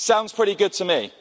Sounds pretty good to me.